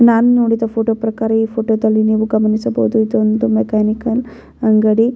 ನಾನು ನೋಡಿದ ಈ ಫೋಟೋ ಪ್ರಕಾರ ಈ ಫೋಟೋದಲ್ಲಿ ನೀವು ಗಮನಿಸಬಹುದು ಇದೊಂದು ಮೆಕಾನಿಕಲ್ ಅಂಗಡಿ.